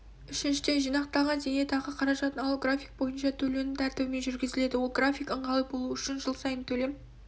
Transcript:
үшіншіден жинақталған зейнетақы қаражатын алу график бойынша төлену тәртібімен жүргізіледі ол график ыңғайлы болу үшін жыл сайын төлем